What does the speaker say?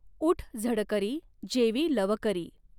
ऊठ झडकरी जेवी लवकरी।